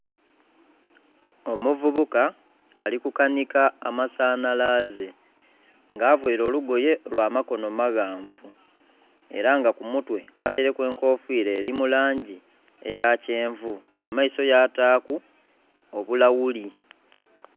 Omuvubuka ali kukanika amasanhalaze. Nga availe olugoye lwa makono maghanvu. Era nga ku mutwe ataileku enkofira eli mu langi eya kyenvu. Ku maiso yataaku obulawuli.